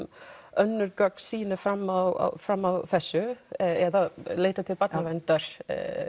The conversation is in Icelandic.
önnur gögn sýni fram á fram á þessu eða leitað til Barnaverndar